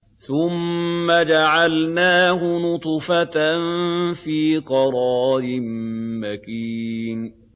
ثُمَّ جَعَلْنَاهُ نُطْفَةً فِي قَرَارٍ مَّكِينٍ